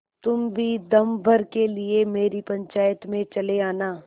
तुम भी दम भर के लिए मेरी पंचायत में चले आना